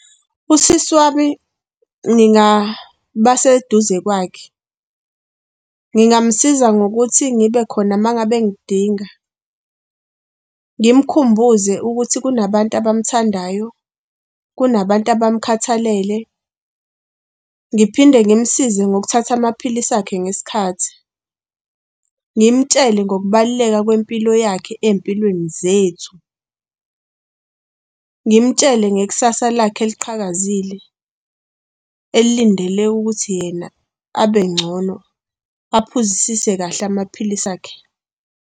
Usisi wami ngingaba seduze kwakhe. Ngingamsiza ngokuthi ngibe khona uma ngabe engidinga, ngimkhumbuze ukuthi kunabantu abamthandayo, kunabantu abamkhathalele, ngiphinde ngimsize ngokuthatha amaphilisi akhe ngesikhathi, ngimtshele ngokubaluleka kwempilo yakhe ey'mpilweni zethu, ngimtshele ngekusasa lakhe eliqhakazile elindele ukuthi yena abengcono aphuzisise kahle amaphilisi akhe.